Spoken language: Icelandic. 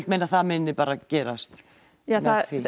meina að það muni gerast já